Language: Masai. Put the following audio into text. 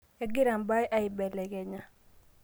egira imbaa ibelekenya